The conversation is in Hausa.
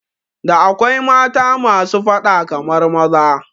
Da akwai mata masu fada kamar maza